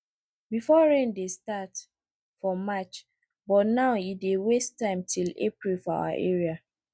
before rain dey start for march but now e dey waste time till april for our area